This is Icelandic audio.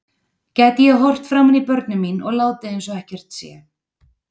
Gæti ég horft framan í börnin mín og látið eins og ekkert sé?